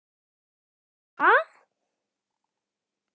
Ég sagði: Ha?